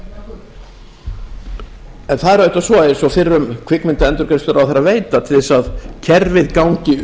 það er auðvitað svo eins og fyrrum kvikmyndaendurgreiðsluráðherra veit að til þess að kerfið gangi